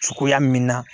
Cogoya min na